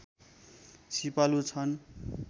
सिपालु छन्